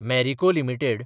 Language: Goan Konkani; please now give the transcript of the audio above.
मॅरिको लिमिटेड